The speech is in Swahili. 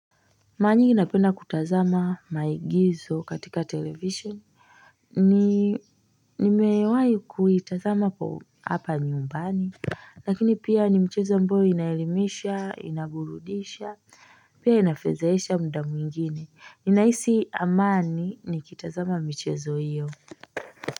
Maranyingi napenda kutazama maigizo katika televisheni nimewahi kuitazama hapa nyumbani lakini pia ni mchezo ambao unaelimisha, unaburudisha pia inafezeesha muda mwingine inahisi amani nikitazama michezo hiyo.